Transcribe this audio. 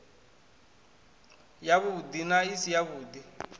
yavhuḓi na i si yavhuḓi